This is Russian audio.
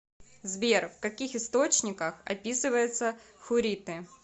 сбер в каких источниках описывается хурриты